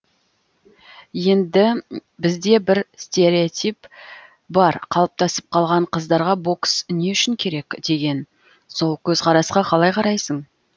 енді бізде бір стереотип бар қалыптасып қалған қыздарға бокс не үшін керек деген сол көзқарасқа қалай қарайсың